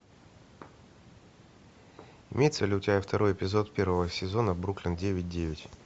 имеется ли у тебя второй эпизод первого сезона бруклин девять девять